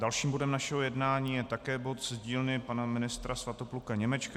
Dalším bodem našeho jednání je také bod z dílny pana ministra Svatopluka Němečka.